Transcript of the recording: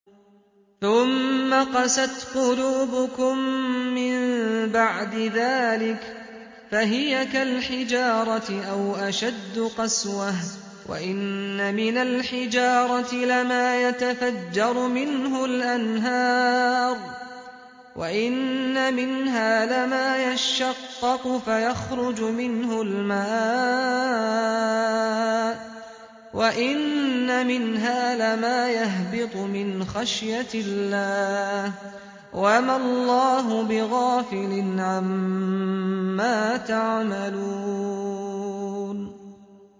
ثُمَّ قَسَتْ قُلُوبُكُم مِّن بَعْدِ ذَٰلِكَ فَهِيَ كَالْحِجَارَةِ أَوْ أَشَدُّ قَسْوَةً ۚ وَإِنَّ مِنَ الْحِجَارَةِ لَمَا يَتَفَجَّرُ مِنْهُ الْأَنْهَارُ ۚ وَإِنَّ مِنْهَا لَمَا يَشَّقَّقُ فَيَخْرُجُ مِنْهُ الْمَاءُ ۚ وَإِنَّ مِنْهَا لَمَا يَهْبِطُ مِنْ خَشْيَةِ اللَّهِ ۗ وَمَا اللَّهُ بِغَافِلٍ عَمَّا تَعْمَلُونَ